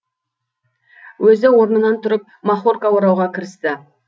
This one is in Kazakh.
өзі орнынан тұрып махорка орауға кірісті